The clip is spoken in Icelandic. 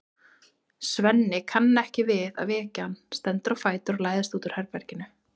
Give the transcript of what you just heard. Svenni kann ekki við að vekja hann, stendur á fætur og læðist út úr herberginu.